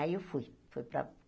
Aí eu fui. Fui para